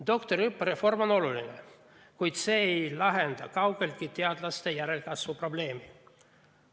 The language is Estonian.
Doktoriõppe reform on oluline, kuid see ei lahenda kaugeltki teadlaste järelkasvu probleemi.